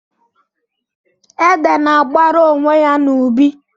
Ede na-agbara onwe ya n'ubi.